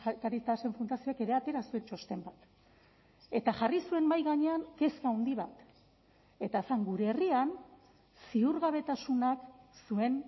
caritasen fundazioak ere atera zuen txosten bat eta jarri zuen mahai gainean kezka handi bat eta zen gure herrian ziurgabetasunak zuen